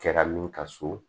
Kɛra min ka so